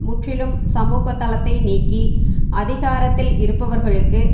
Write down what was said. முற்றிலும் சமூக தளத்தை நீக்கி அதிகாரத்தில் இருப்பவர்களுக்கு